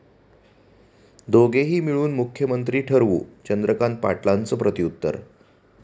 दोघेही मिळून मुख्यमंत्री ठरवू, चंद्रकांत पाटलांचं प्रत्युत्तर